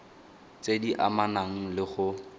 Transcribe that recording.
tse di amanang le go